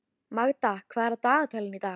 Magda, hvað er á dagatalinu í dag?